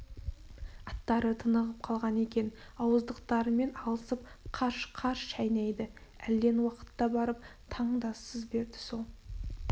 аттары тынығып қалған екен ауыздықтарымен алысып қарш-қарш шайнайды әлден уақытта барып таң да сыз берді сол